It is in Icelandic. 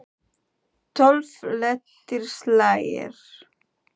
Tólf léttir slagir.